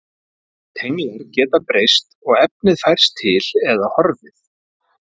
Tenglar geta breyst og efnið færst til eða horfið.